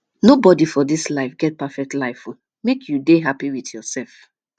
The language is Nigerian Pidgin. nobodi for dis life get perfect life o make you dey hapi wit yoursef